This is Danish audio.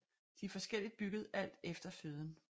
De er forskelligt bygget alt efter føden